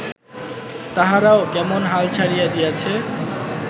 তাহারাও কেমন হাল ছাড়িয়া দিয়াছে